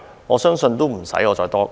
我相信無須我多說。